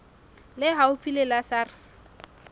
le haufi le la sars